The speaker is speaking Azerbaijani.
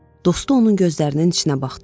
Dostu onun gözlərinin içinə baxdı.